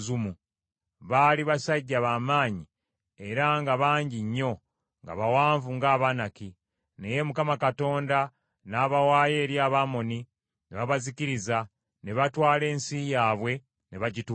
Baali basajja ba maanyi era nga bangi nnyo, nga bawanvu ng’Abanaki. Naye Mukama Katonda n’abawaayo eri Abamoni ne babazikiriza, ne batwala ensi yaabwe ne bagituulamu.